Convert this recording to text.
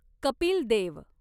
Kapil Dev